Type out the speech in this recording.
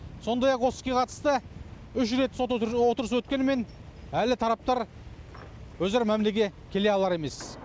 сондай ақ осы іске қатысты үш рет сот отырысы өткенімен әлі тараптар өзара мәмілеге келе алар емес